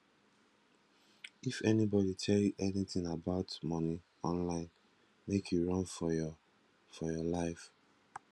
if anybody tell you anything about money online make you run for your for your life